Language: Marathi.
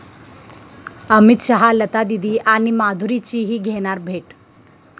अमित शहा लतादीदी आणि माधुरीचीही घेणार भेट